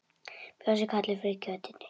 Bjössi, Kalli, Frikki og Kiddi!